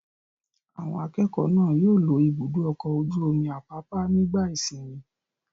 Àwọn akẹ́kọ̀ọ́ náà yóò lọ Ibùdó-ọkọ̀ ojú-omi Àpápá nígbà ìsìnmi.